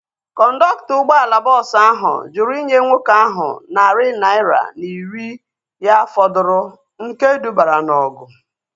Kọndọktọ ụgbọala bọọsu ahu jụrụ inye nwoke ahu narị naira na iri ya fọdụrụ nke dubara na ọgụ